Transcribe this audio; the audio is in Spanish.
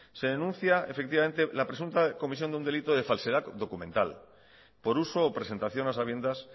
se denuncia efectivamente la presunta comisión de un delito de falsedad documental por uso o presentación a sabiendas